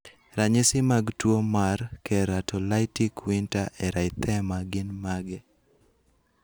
Ranyisi mag tuo marKeratolytic winter erythema gin mage?